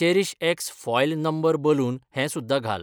चेरीशएक्सल् foil number balloon हें सुध्दां घाल.